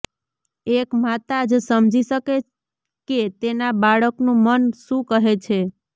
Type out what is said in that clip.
એક માતા જ સમજી શકે કે તેના બાળકનું મન શું કહે છે